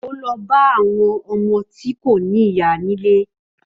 Ó lọ bá àwọn ọmọ tí kò ní ìyá nílé